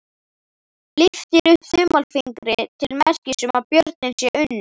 Lyftir upp þumalfingri til merkis um að björninn sé unninn.